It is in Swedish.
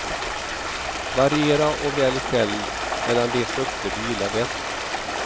Variera och välj själv mellan de frukter du gillar bäst.